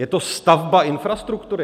Je to stavba infrastruktury?